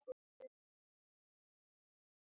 Fúli jóker.